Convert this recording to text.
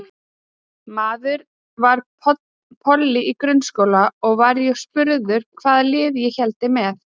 Maður var polli í grunnskóla og var ég spurður hvaða liði ég héldi með.